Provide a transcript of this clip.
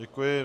Děkuji.